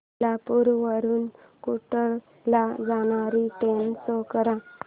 कोल्हापूर वरून कुडाळ ला जाणारी ट्रेन शो कर